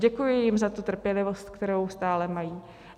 Děkuji jim za tu trpělivost, kterou stále mají.